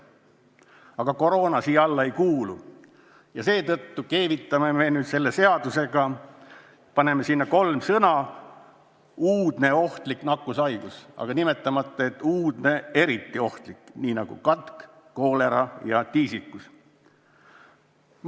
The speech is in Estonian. Aga koroona nende hulka ei kuulu ja seetõttu keevitame sellele seadusele kolm sõna juurde – "uudne ohtlik nakkushaigus", nimetamata seda uudseks ja eriti ohtlikuks nakkushaiguseks, nagu seda on katk, koolera ja tiisikus.